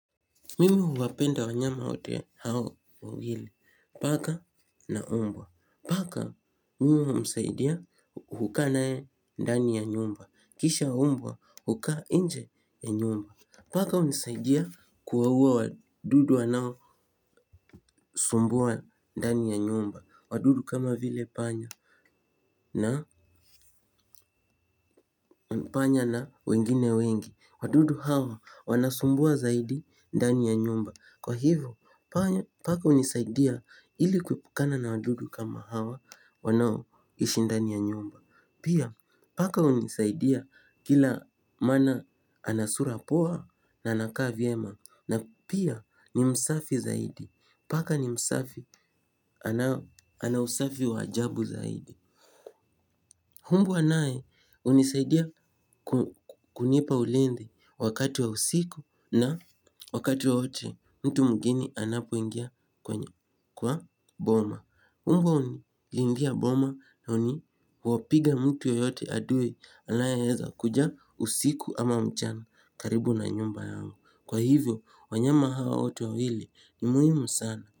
Mimi huwapenda wanyama wote hao wawili, paka na mbwa. Paka mimi humsaidia kukaa naye ndani ya nyumba. Kisha mbwa hukaa nje ya nyumba. Paka hunisaidia kuwauwa wadudu wanaosumbua ndani ya nyumba. Wadudu kama vile panya na panya na wengine wengi. Wadudu hawa wanasumbua zaidi ndani ya nyumba. Kwa hivyo, paka hunisaidia ili kuepukana na wadudu kama hawa wanaoishi ndani ya nyumba. Pia, paka hunisaidia kila mana ana sura poa na anakaa vyema. Na pia, ni msafi zaidi. Paka ni msafi ana usafi wa ajabu zaidi mbwa naye, hunisaidia kunipa ulindi wakati wa usiku na wakati wowote. Mtu mwigine anapoingia kwa boma mbwa hunilindia boma na uni huwapiga mtu yoyote adui. Anaeeza kuja usiku ama mchana karibu na nyumba yao. Kwa hivyo, wanyama hawa wote wawili ni muhimu sana.